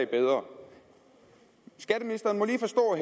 bedre skatteministeren må lige forstå at